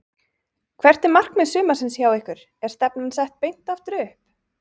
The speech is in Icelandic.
Hvert er markmið sumarsins hjá ykkur, er stefnan sett beint aftur upp?